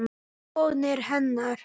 Vonir hennar.